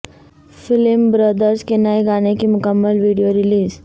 film Brothers کے نئے گانے کی مکمل ویڈیو ریلیز